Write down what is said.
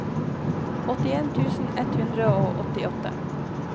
åttien tusen ett hundre og åttiåtte